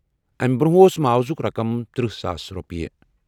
امہِ برٛونٛہہ اوس معاوضٕچ رقم تٔرہ ساس رۄپیہِ۔